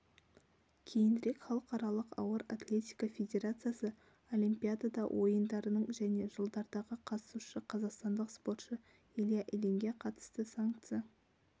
кейінірек халықаралық ауыр атлетика федерациясы олимпиада ойындарының және жылдардағы қатысушысы казақстандық спортшы илья ильинге қатысты санкция